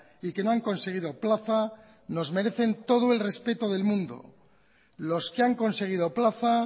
y que no han conseguido plaza nos merecen todo el respeto del mundo los que han conseguido plaza